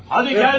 Hadi gəl!